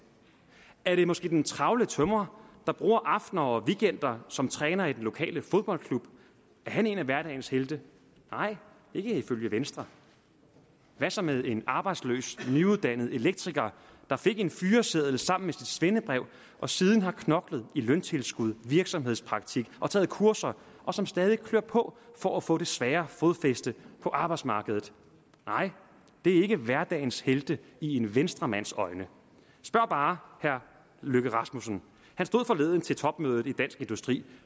er det måske den travle tømrer der bruger aftener og weekender som træner i den lokale fodboldklub er han en af hverdagens helte nej ikke ifølge venstre hvad så med en arbejdsløs nyuddannet elektriker der fik en fyreseddel sammen svendebrev og siden har knoklet i løntilskudsjob virksomhedspraktik og taget kurser og som stadig klør på for at få det svære fodfæste på arbejdsmarkedet nej det er ikke hverdagens helte i en venstremands øjne spørg bare herre løkke rasmussen han stod forleden til topmødet i dansk industri